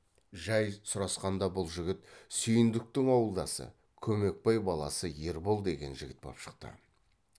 жай сұрасқанда бұл жігіт сүйіндіктің ауылдасы көмекбай баласы ербол деген жігіт боп шықты